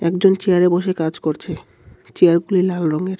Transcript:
একজন চেয়ারে বসে কাজ করছে চেয়ারগুলি লাল রঙের।